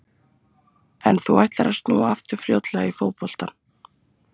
En þú ætlar að snúa aftur fljótlega í fótboltann?